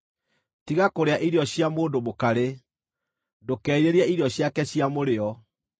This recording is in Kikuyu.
Tiga kũrĩa irio cia mũndũ mũkarĩ, ndũkerirĩrie irio ciake cia mũrĩo;